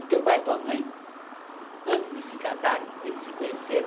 O teu pai e a tua mãe, antes de se casarem, eles se conheceram,